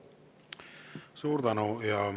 Suur tänu!